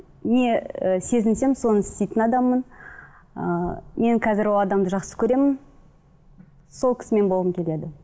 не ы сезінсем соны істейтін адаммын ыыы мен қазір ол адамды жақсы көремін сол кісімен болғым келеді